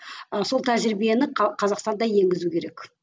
ы сол тәжірибені қазақстанда енгізу керек